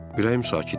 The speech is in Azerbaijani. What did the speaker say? Vəziyyət sakit idi.